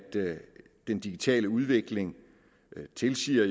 den digitale udvikling jo tilsiger